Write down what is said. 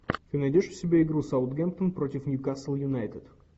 ты найдешь у себя игру саутгемптон против ньюкасл юнайтед